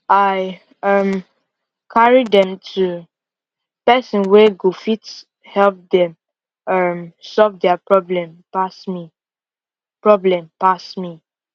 i um carry dem to person wey go fit help dem um solve dia problem pass me problem pass me